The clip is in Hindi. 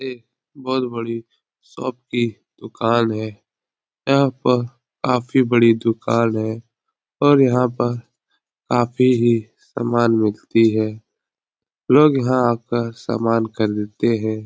ये बोहोत बड़ी शॉप की दुकान है। यहाँ पर काफी बड़ी दुकान है और यहाँ पर काफी ही सामान मिलती है। लोग यहाँ आकर सामान खरीदते हैं।